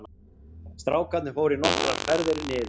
Strákarnir fóru nokkrar ferðir niður